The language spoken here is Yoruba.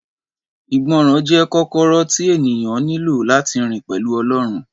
Ìgbọràn jẹ́ kọ́kọ́rọ́ tí ènìyàn nílò láti rìn pẹ̀lú Ọlọ́run